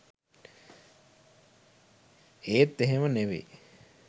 ඒත් එහෙම නෙවේ